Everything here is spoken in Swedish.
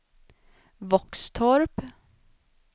Våxtorp